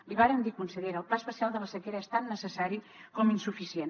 l’hi vàrem dir consellera el pla especial de la sequera és tan necessari com insuficient